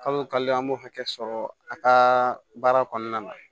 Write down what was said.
Kalo o kalo an b'o hakɛ sɔrɔ a ka baara kɔnɔna na